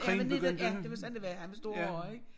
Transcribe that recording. Han var 19 ja det var sådan det var han var stor horra ik